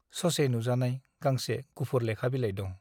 ससे नुजानाय गांसे गुफुर लेखा बिलाइ दं ।